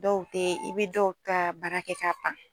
Dɔw tɛ i bɛ dɔw ta baara kɛ ka ban.